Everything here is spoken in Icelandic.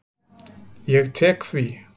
Ég tek því.